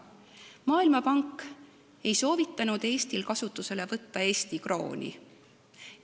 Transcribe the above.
Maailmapank ei soovitanud Eestil kasutusele võtta Eesti krooni.